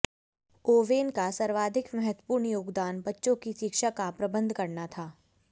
oven का सर्वाधिक महत्त्वपूर्ण योगदान बच्चों की शिक्षा का प्रबंध करना था